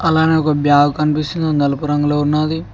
అలాగే ఒక బ్యాగ్ కనిపిస్తుంది నలుపు రంగులో ఉన్నది.